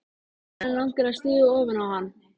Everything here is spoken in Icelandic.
Ég spurði mömmu hvað hún héldi.